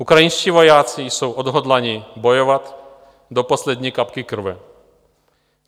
Ukrajinští vojáci jsou odhodláni bojovat do poslední kapky krve.